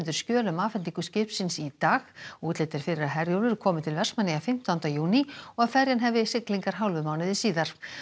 skjöl um afhendingu skipsins í dag útlit er fyrir að Herjólfur komi til Vestmannaeyja fimmtánda júní og að ferjan hefji siglingar hálfum mánuði síðar